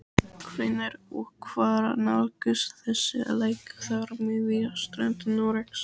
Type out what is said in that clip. Hvenær og hvar nálgast þessi lægðarmiðja strönd Noregs?